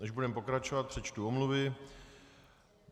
Než budeme pokračovat, přečtu omluvy.